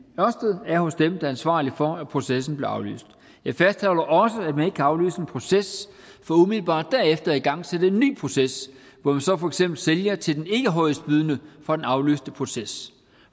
ørsted er hos dem der er ansvarlige for at processen blev aflyst jeg fastholder også at man ikke kan aflyse en proces for umiddelbart derefter at igangsætte en ny proces hvor vi så for eksempel sælger til den ikkehøjestbydende fra den aflyste proces